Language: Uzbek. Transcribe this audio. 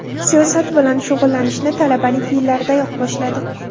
Siyosat bilan shug‘ullanishni talabalik yillaridayoq boshladi.